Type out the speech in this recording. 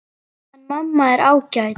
En mamma er ágæt.